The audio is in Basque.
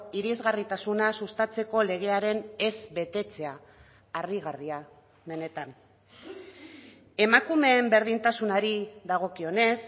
irisgarritasuna sustatzeko legearen ez betetzea harrigarria benetan emakumeen berdintasunari dagokionez